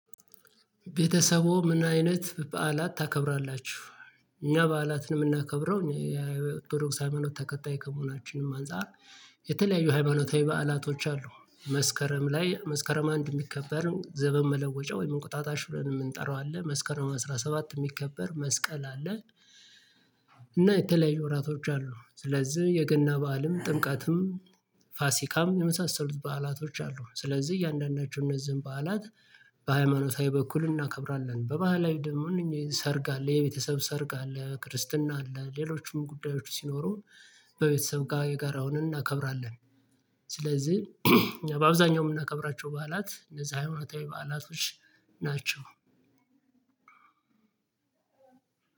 ቤተሰቦዎ ምን አይነት በዓላት ታከብራላችሁ? እኛ በዓላት ነው የምናከብረው የኦርቶዶክስ ሃይማኖት ተከታይ ከመሆናችንም አንፃር። የተለያዩ ሃይማኖታዊ በዓላቶች አሉ። መስከረም ላይ መስከረም አንድ የሚከበርን ዘበን መለወጫ ወይም እንቁጣጣሽ ብለን የምንጠራው አለ። መስከረም አስራ ሰባት የሚከበር መስቀል አለ። እና የተለያዩ ወራቶች አሉ። ስለዚህ የገና በዓልም ጥምቀትም ፋሲካም የመሳሰሉት በዓላቶች አሉ። ስለዚህ እያንዳንዳቸው እነዚህን በዓላት በሃይማኖታዊ በኩል እናከብራለን። በባህላዊ ደግሞ እነኚ ሰርግ አለ የቤተሰብ ሰርግ አለ ክርስትና አለ ሌሎችም ጉዳዮች ሲኖሩ በቤተሰብ ጋር የጋራውን እናከብራለን። ስለዚህ በአብዛኛው የምናከብራቸው በዓላት እንደዛ ሃይማኖታዊ በዓላቶች ናቸው።